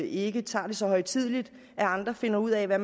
ikke tager det så højtideligt at andre finder ud af hvad